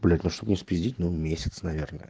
блять ну чтоб не спиздеть ну месяц наверное